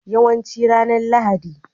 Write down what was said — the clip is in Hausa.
Yawancin ranar Lahadi.